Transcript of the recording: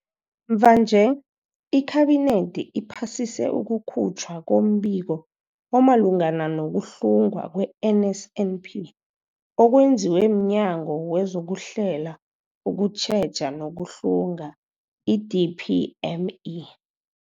Mvanje, iKhabinethi iphasise ukukhutjhwa kombiko omalungana nokuhlungwa kwe-NSNP okwenziwe mNyango wezokuHlela, ukuTjheja nokuHlunga, i-DPME.